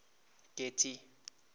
getty